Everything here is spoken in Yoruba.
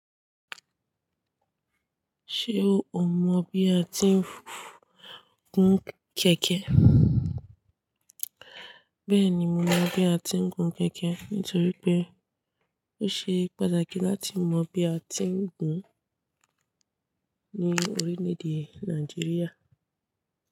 Ṣé o mọ bí a ti ń gun kẹ̀kẹ́? Bẹ́ẹ̀ni, mo mọ bí a ti ń gun kẹ̀kẹ́ nítorí pé ó ṣe pàtàkì láti mọ bí a ti ń gùn ní orílẹ̀ èdè Nàìjíríà.